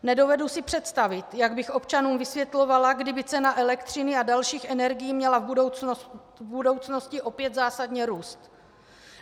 Nedovedu si představit, jak bych občanům vysvětlovala, kdyby cena elektřiny a dalších energií měla v budoucnosti opět zásadně růst.